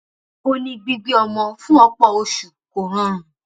ó ní gbígbé ọmọ fún ọpọ oṣù kò rọrùn